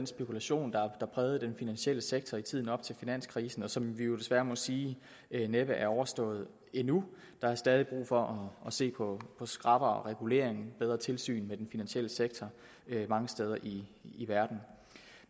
spekulation der prægede den finansielle sektor i tiden op til finanskrisen og som vi jo desværre må sige næppe er overstået endnu der er stadig brug for at se på skrappere regulering og bedre tilsyn med den finansielle sektor mange steder i verden